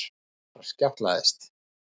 En þar skjátlaðist